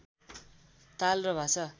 ताल र भाषा